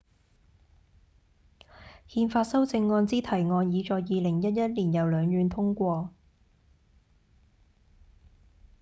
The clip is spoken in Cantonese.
憲法修正案之提案已在2011年由兩院通過